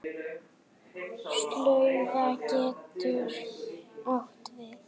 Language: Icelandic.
Slaufa getur átt við